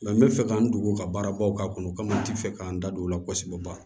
n bɛ fɛ ka n dogo ka baara baw k'a kɔnɔ n tɛ fɛ k'an da don o la kosɛbɛ ba